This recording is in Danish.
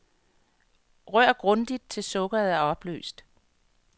Rør grundigt til sukkeret er opløst.